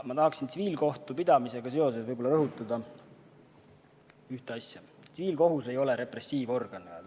Ma tahaksin tsiviilkohtupidamisega seoses võib-olla rõhutada ühte asja: tsiviilkohus ei ole repressiivorgan.